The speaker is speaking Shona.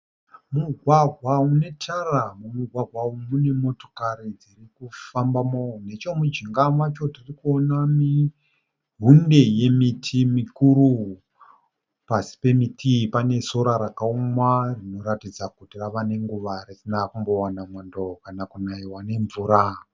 Mugwagwa unetara. Mumugwagwa umu mune motokari dzirikufambamo. Nechemujinga macho tirikuona hunde yemiti mikuru. Pasi pemiti iyi pane sora rakaoma rinoratidza kuti rave nenguva risina kumbowana mwando kana kunaiwa nemvura.